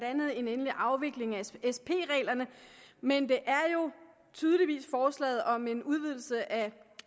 andet en endelig afvikling af sp reglerne men det er jo tydeligvis forslaget om en udvidelse af